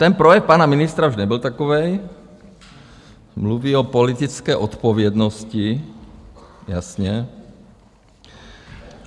Ten projev pana ministra už nebyl takový, mluví o politické odpovědnosti, jasně.